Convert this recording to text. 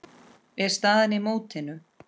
er staðan í mótinu.